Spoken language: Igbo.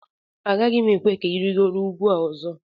Agaghị m ekwe ka ị rịgoro ugwu a ọzọ